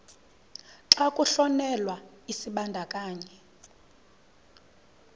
xa kuhlonyelwa isibandakanyi